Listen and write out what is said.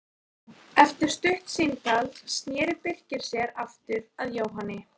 Eftir stutt símtal sneri Birkir sér aftur að Jóhanni.